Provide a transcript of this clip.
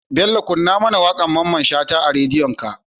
Bello kunna mAna waƙar mamman shata a radio din ka